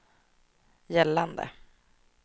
gällande